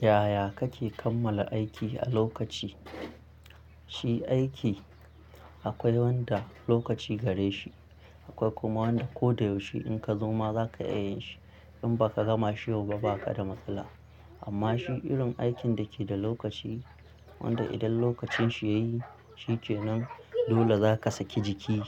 Yaya kake kammala aiki a lokaci? Shi aiki akwai wanda lokaci gare shi, akwai kuma wanda ko da yaushe in ka zo ma zaka iya yin shi. In ba ka gama shi yau ba, ba ka da matsala. Amma shi irin aikin da ke da lokaci, wanda idan lokacin shi ya yi, shi ce nan dole zaka saki jiki